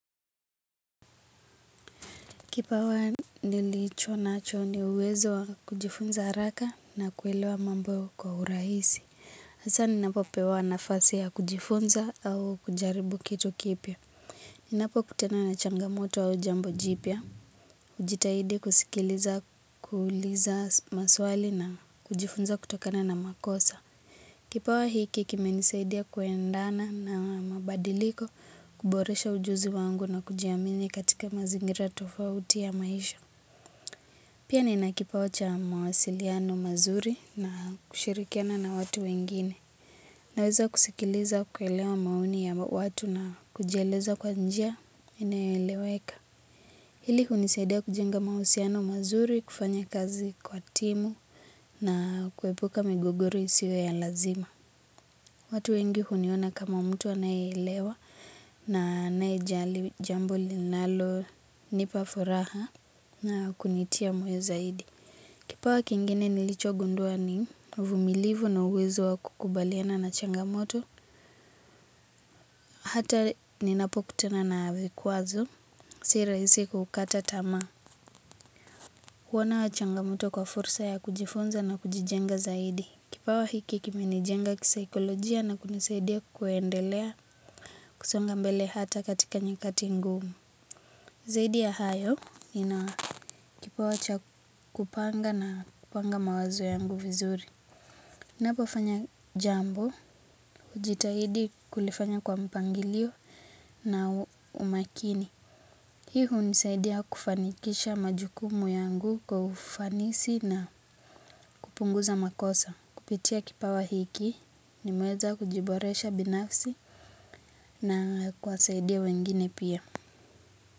Kipawa nilicho nacho ni uwezo wa kujifunza haraka na kuelewa mambo kwa urahisi. hAsa ni napo pewa nafasi ya kujifunza au kujaribu kitu kipya. Ni napo kutana na changamoto au jambo jipya. hujitahidi kusikiliza kuuliza maswali na kujifunza kutokana na makosa. Kipawa hiki kimenisaidia kuendana na mabadiliko kuboresha ujuzi wangu na kujiamini katika mazingira tofauti ya maisha. Pia ni nakipawa cha mawasiliano mazuri na kushirikiana na watu wengine. Naweza kusikiliza kuelewa maoni ya watu na kujieleza kwa njia inayoeleweka hili hunisaidia kujenga mawasiliano mazuri kwa timu na kuepuka migogoro isio ya lazima. Watu wengi huniona kama mtu anayeelewa na anaye jambo li nalo nipafuraha na kunitia moyozaidi. Kipawa kingine nilicho gundua ni uvumilivu na uwezo wa kukubaliana na changamoto. Hata ni napo kutana na vikwazo, si rahisi kukata tamaa. Huona changamoto kwa fursa ya kujifunza na kujijenga zaidi. Kipawa hiki kimenijenga kisaikolojia na kunisaidia kuendelea kusonga mbele hata katika nyakati ngumu. Zaidi ya hayo nina kipawa cha kupanga na kupanga mawazo yangu vizuri. ninapo fanya jambo, hujitahidi kulifanya kwa mpangilio na umakini. Hii hunisaidia kufanikisha majukumu yangu kwa ufanisi na kupunguza makosa. Kupitia kipawa hiki, nimeweza kujiboresha binafsi na kuwasaidia wengine pia.